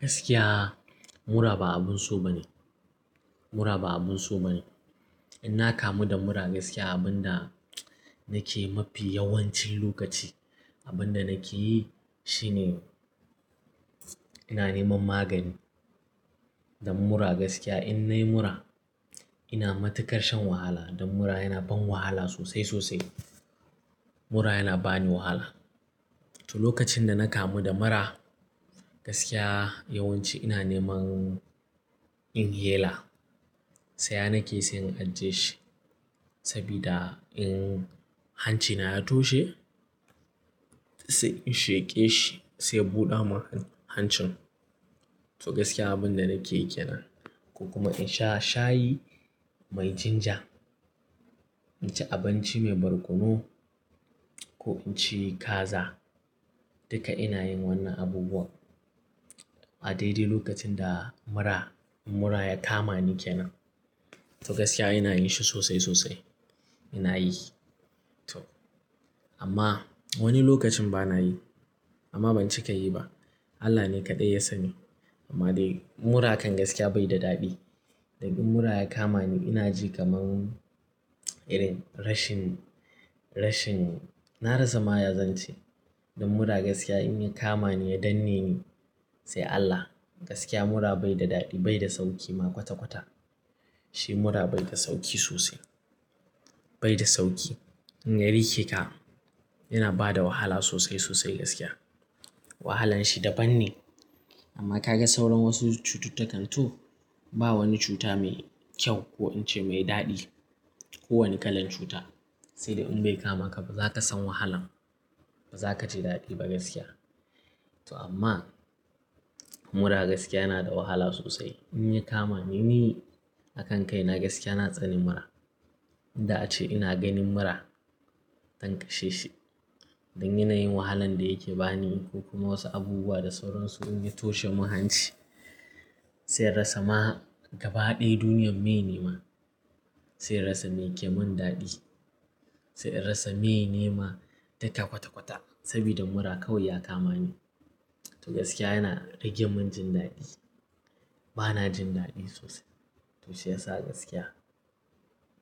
Gaskiya mura ba abun so ba ne. Mura ba abun so ba ne. In na kamu da mura gaskiya abin da nake mafi yawancin lokaci, abin da nake yi shine ina neman magani don mura. Gaskiya in nayi mura ina matukar shan wahala don mura yana ban wahala sosai sosai. Mura yana bani wahala. To lokacin da na kamu da mura gaskiya yawanci ina neman inhaler, saya na ke sai in ajje shi saboda in hancina ya toshe sai in sheƙe shi sai ya buɗa ma hancin. To gaskiya abin da nake yana. Ko kuma in sha shayi mai ginger, inci abinci mai barkono ko inci kaza. Duka ina yin wannan abubuwan a daidai lokacin da mura, mura ya kama ni ke nan. To gaskiya ina yi shi sosai sosai. Ina yi to amma wani lokacin ba na yi amma ban cika yi ba. Allah ne kaɗai ya sani. Amma dai mura kan gaskiya bai da daɗi. Dan in mura ya kama ni ina ji kamar, irin rashin, rashin-- na rasa ma yazance don mura gaskiya in ya kama ni ya danne ni sai Allah. Gaskiya mura bai da daɗi, bai da sauƙi ma kwata-kwata. Shi mura bai da sauƙi sosai. Bai da sauƙi. In ya riƙe ka yana bada wahala sosai sosai gaskiya. Wahalan shi daban ne. Amma ka ga sauran wasu cututtukan to ba wani cuta mai kyau ko ince mai daɗi. Ko wani kalan cuta. Sai dai in bai kama ka ba za ka san wahalan. Ba za ka ji daɗi ba gaskiya. To amma mura gaskiya yana da wahala sosai. In ya kama ni, ni a kan kai na gaskiya na tsani mura. Inda ace ina ganin mura dan kashe shi don yana yin wahalan da yake ba ni ko kuma wasu abubuwa da sauransu in ya toshe mun hanci. Sai inrasa ma gaba ɗaya duniyar mai ne ma. Sai inrasa mai ke mun daɗi. Sai rasa mai ne ma data kwata-kwata saboda mura kawai ya kama ni. To gaskiya yana rage mun jin daɗi. Ba na jin daɗi sosai. To shi ya sa gaskiya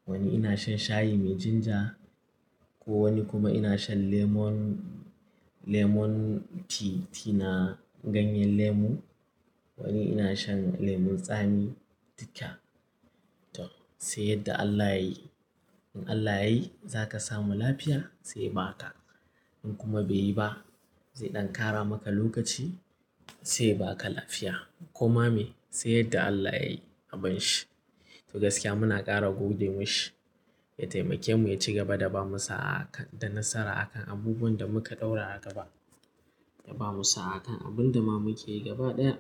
wani ina shan shayi mai ginger ko wani kuma ina shan lemon, lemon tea, tina ganyen lemu. Wani ina shan lemon tsami duka. To sai yadda Allah ya yi. In Allah ya yi za ka samu lafiya sai ba ka. In kuma bai yi ba zai ɗan ƙara maka lokaci sai ba ka lafiya. Koma me sai yadda Allah ya yi abin shi. To gaskiya muna ƙara gode mashi ya taimake mu ya ci gaba da ba mu sa'a da nasara akan abubuwan da muka ɗaura a gaba. Ya ba mu sa'a akan abin da ma muke gaba ɗaya.